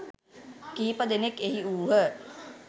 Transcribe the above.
කිහිප දෙනක්‌ එහි වූහ